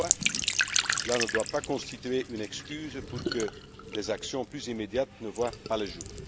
terme. Toutefois, cela ne doit pas constituer une excuse pour que des actions plus immédiates ne voient pas le